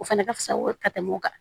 O fɛnɛ ka fisa ko ye ka tɛmɛ o kan